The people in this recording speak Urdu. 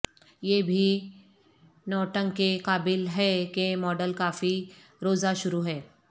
یہ بھی نوٹنگ کے قابل ہے کہ ماڈل کافی روزہ شروع ہے